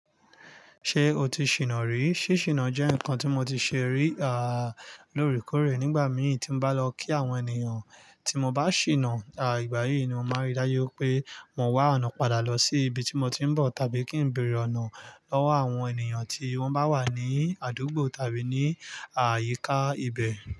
Ṣé o ti ṣìná rí? Sí ṣìná jẹ́ nǹkan tí mo ti ṣe rí, à lorekorẹ̀ nígbà mìí tí n bá lọ kí àwọn ènìyàn. Tí mo bá ṣìná, à ìgbà yí ni mo máa rí dájú pé mọ̀ wá ọ̀nà padà lọ sí ibi tí mo ti ń bọ̀, tàbí kí ń béèrè ọ̀nà lọ́wọ́ àwọn ènìyàn tí wọ́n bá wà ní àdúgbò tàbí ní àyíká ibẹ̀.